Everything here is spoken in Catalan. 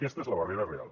aquesta és la barrera real